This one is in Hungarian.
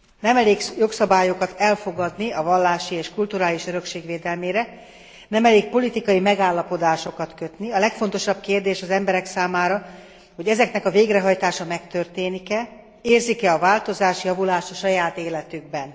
Nem elég jogszabályokat elfogadni a vallási és kulturális örökség védelmére, nem elég politikai megállapodásokat kötni, a legfontosabb kérdés az emberek számára, hogy ezeknek a végrehajtása megtörténik e, érzik e a változást, javulást a saját életükben.